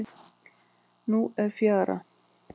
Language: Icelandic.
Nú er fjara.